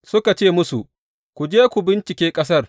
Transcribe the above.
Suka ce musu, Ku je, ku bincike ƙasar.